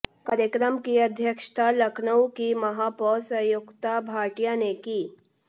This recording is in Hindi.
कार्यक्रम की अध्यक्षता लखनऊ की महापौर संयुक्ता भाटिया ने की